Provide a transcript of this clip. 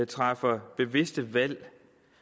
træffer bevidste valg